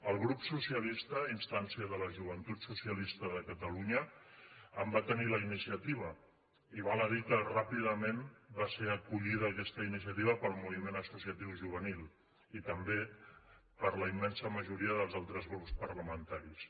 el grup socialista a instància de la joventut socialista de catalunya en va tenir la iniciativa i val a dir que ràpidament va ser acollida aquesta iniciativa pel moviment associatiu juvenil i també per la immensa majoria dels altres grups parlamentaris